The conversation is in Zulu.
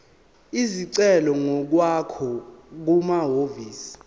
isicelo ngokwakho kumahhovisi